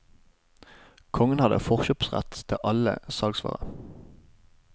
Kongen hadde forkjøpsrett til alle salgsvarer.